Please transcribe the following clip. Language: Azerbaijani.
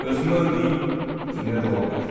Özümü öldürüm, dünya da olmayacaq.